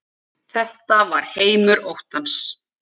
Þetta var heimur óttans.